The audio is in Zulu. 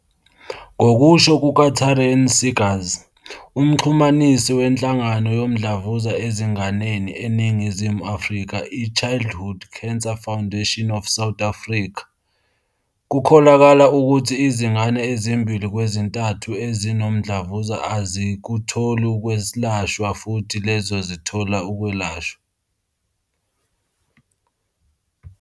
Ngokusho kuka-Taryn Seegers, uMxhumanisi weNhlangano Yomdlavuza Ezinganeni eNingizimu Afrika i-Childhood Cancer Foundation of South Africa, kukholakala ukuthi izingane ezimbili kwezintathu ezinomdlavuza azikutholi ukwelashwa futhi lezo ezithola ukwelashwa.